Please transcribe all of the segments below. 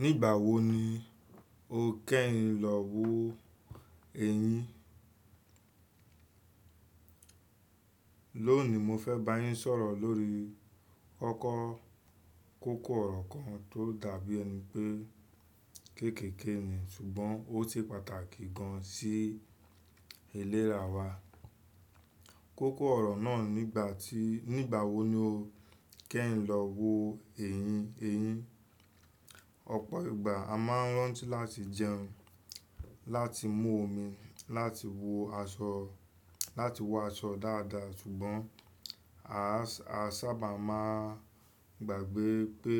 Nígbàwo ni o kẹ́yin lọ wo ẹyín? Lónìí mo fẹ́ bá yín sọ̀rọ̀ lórí ọkọ́ kókó ọ̀rọ̀ kan tó dàbí ẹni pé kéékèèké ni ṣùgbọ́n ó ṣe pàtàkì gan sí ìlera wa. Kókó ọ̀rọ̀ náà ni nígbàwo ni o kẹ́yin lọ wo eyín. Ọ̀pọ̀ ìgbà a máa ń rántí láti jẹun, láti mú omi, láti wọ aṣọ dáadáa ṣùgbọ́n a sábà máa gbàgbé pé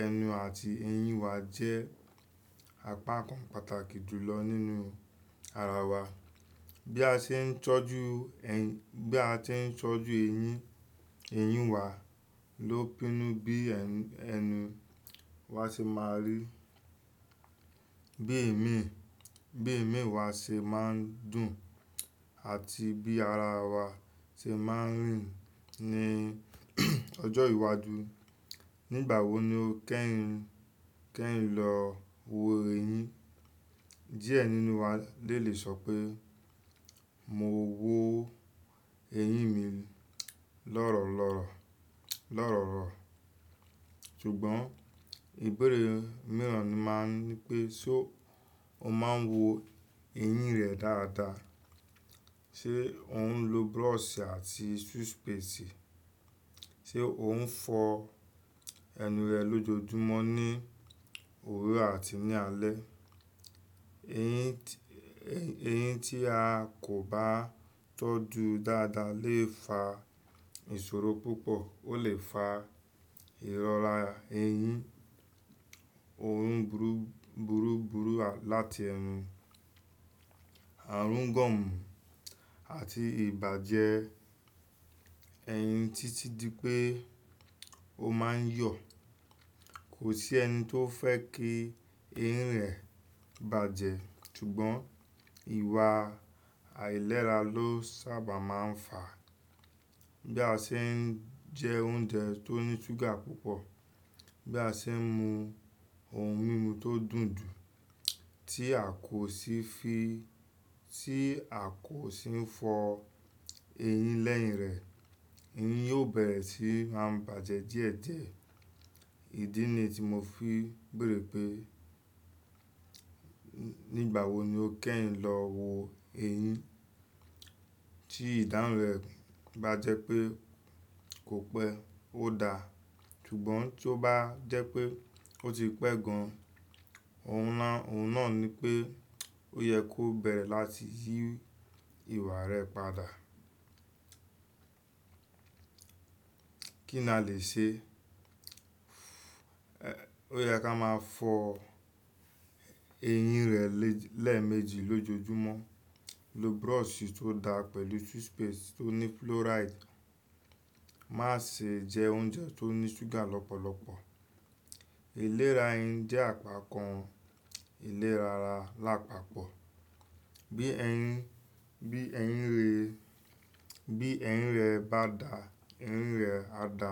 ẹnu àti ẹyín wa jẹ́ apá kan pàtàkì jùlọ nínú ara wa. Bí a ṣe ń tọ́jú ẹ́, bí a ṣe ń tọ́jú eyín eyin wa ló pinnu bí ẹnu wa ṣe máa rí, bí èémí bi eemi wa ṣe máa ń dùn àti bí ara wa ṣe má ń rìn ní ọjọ́ iwájú. Nígbàwo ni o kẹ́yin lọ wo eyín? Díẹ̀ nínú wa de lè sọ pé mo wo eyín mi lọ́rọ́ lọ́rọ́, ṣùgbọ́n ìbéèrè mìíràn ni máa ń ní pé ṣo o máa ń wo eyín rẹ dáadáa? Ṣe o ń lo brush àti toothpaste? Ṣe o ń fọ ẹnu rẹ lójoojúmọ́ ní òru àti ní alẹ́? Eyín tí a kò bá tọ́jú dáadáa lè fa ìṣòro púpọ̀, ó lè fa ìrọ́ra eyín, orun burúburú láti ẹnu, àrùn gum àti ìbàjẹ́ eyín títí di pé ó máa ń yọ̀. Kò sí ẹni tó fẹ́ kí eyín rẹ̀ bàjẹ́ ṣùgbọ́n ìwà àìlera ló sábà máa ń fà á. Bí a ṣe ń jẹ oúnjẹ tó ní ṣúgà púpọ̀, bí a ṣe ń mú ohun mímu tó dùn dùn tí a kò sì fi, tí a kò sì ń fọ eyín lẹ́yìn rẹ̀, eyín yóò bẹ̀rẹ̀ sí máa ń bàjẹ́ díẹ̀díẹ̀. Ìdí nìí tí mo fi béèrè pé nígbàwo ni o kẹ́yin lọ wo eyín. Tí ìdáhùn rẹ̀ bá jẹ́ pé kò pẹ́, ó dáa ṣùgbọ́n tí ó bá jẹ́ pé ó ti pẹ́ gan-an, ohun náà ni pé ó yẹ kó bẹ̀rẹ̀ láti yí ìwà rẹ̀ padà. Kí ni a lè ṣe? Ó yẹ ká máa fọ eyín rẹ lẹ́ẹ̀méjì lójoojúmọ́, lo brush tó dáa pẹ̀lú toothpaste tó ní fluoride. Má ṣe jẹ oúnjẹ tó ní ṣúgà lọ́pọ̀lọpọ̀. Ìlera eyín jẹ́ àpá kan ìlera ara lápapọ̀. Bí eyín rẹ bá dà, eyín rẹ a dà,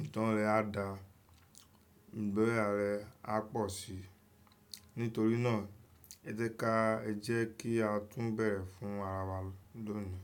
ìtàn rẹ a dà, ìgboyà rẹ á pọ̀ sí i. Nítorí náà ẹ jẹ́ ká jẹ́ kí á tún bẹ̀rẹ̀ fún ara wa lónìí.